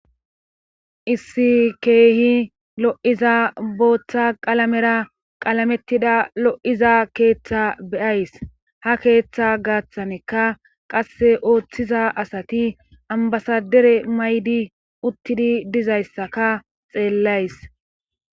Issi keehi lo'iza booththa qalamera qalamettida lo'iza keeththa be'ays ha keeththa gaaththanika qasse ooththiza asati ambbasadere mayidi uttidi dizayssaka xeellays.